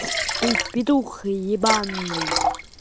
ты петух ебаный